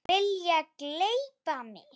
Vilja gleypa mig.